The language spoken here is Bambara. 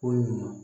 Ko ɲuman